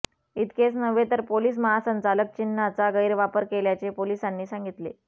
इतकेच नव्हे तर पोलीस महासंचालक चिन्हाचा गैरवापर केल्याचे पोलिसांनी सांगितले